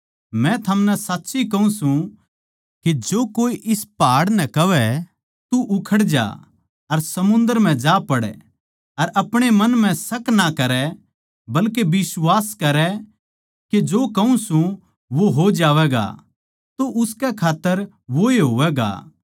मै थमनै साच्ची कहूँ सूं के जो कोए इस पहाड़ नै कहवै तू उखड़ जा अर समुन्दर म्ह जा पड़ अर आपणे मन म्ह शक ना करै बल्के बिश्वास करै के जो कहूँ सूं वो हो जावैगा तो उसकै खात्तर वोए होवैगा